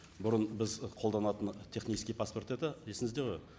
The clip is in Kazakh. бұрын біз ы қолданатын технический паспорт еді есіңізде ғой